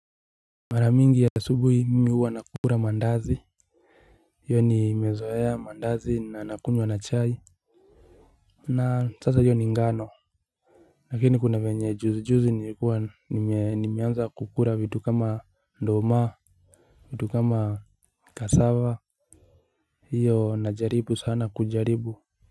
Mara mingi ya asubuhi mimi huwa nakula maandazi hiyo nimezoea mandazi na nakunywa na chai. Na sasa hiyo ni ngano. Lakini kuna venye juzi juzi nikuwa nimeanza kukua vitu kama nduma. Vitu kama cassava hiyo na jaribu sana kujaribu.